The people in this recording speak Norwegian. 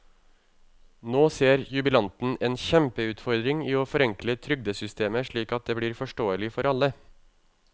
Nå ser jubilanten en kjempeutfordring i å forenkle trygdesystemet slik at det blir forståelig for alle.